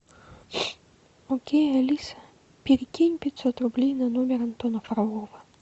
окей алиса перекинь пятьсот рублей на номер антона фролова